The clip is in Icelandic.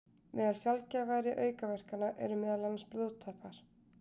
Meðal sjaldgæfari aukaverkana eru meðal annars blóðtappar.